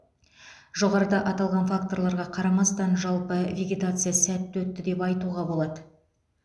жоғарыда аталған факторларға қарамастан жалпы вегетация сәтті өтті деп айтуға болады